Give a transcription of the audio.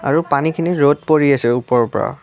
আৰু পানীখিনি জোৰত পৰি আছে ওপৰৰ পৰা।